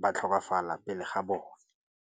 ba tlhokafala pele ga bone.